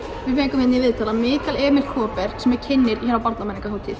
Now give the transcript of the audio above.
við fengum hérna í viðtal hann Mikael Emil Kaaber sem er kynnir hér á